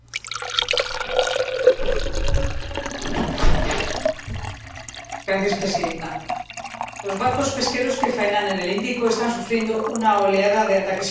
Señora Presidenta, los barcos pesqueros que faenan en el Índico están sufriendo una oleada de ataques de piratas.